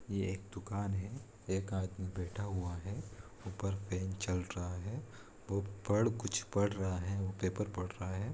ये एक दुकान है एक आदमी बैठा हुआ है ऊपर फैन चल रहा है वो पड़ कुछ पढ़ रहा है पेपर पढ़ रहा है।